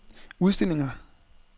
udstillinger